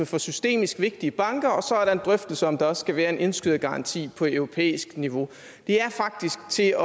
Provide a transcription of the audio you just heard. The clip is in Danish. for systemisk vigtige banker og så er der en drøftelse om der også skal være en indskydergaranti på europæisk niveau det er faktisk til